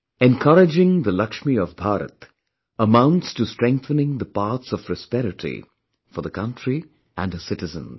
Encouraging the Laxmi of Bharat amounts to strengthening the paths of prosperity for the country and her citizens